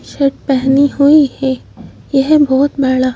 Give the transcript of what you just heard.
shirt पहनी हुई है यह बहुत बड़ा--